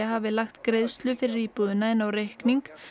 hafi lagt greiðslu fyrir íbúðina inn á reikning